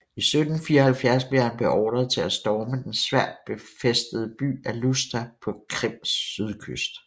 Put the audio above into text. I 1774 blev han beordret til at storme den svært befæstede by Alushta på Krims sydkyst